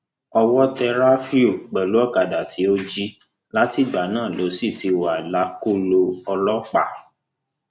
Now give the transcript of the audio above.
owó tẹ ráfíù pẹlú ọkadà tó jì látìgbà náà ló sì ti wà lákọlò ọlọpàá